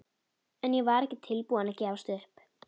En ég var ekki tilbúin að gefast upp.